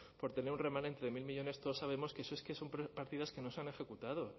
por tener un remanente de mil millónes todos sabemos que eso es que son partidas que no se han ejecutado